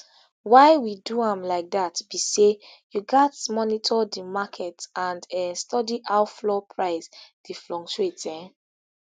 why we do am like dat be say you gatz monitor di markets and um study how flour price dey fluctuate um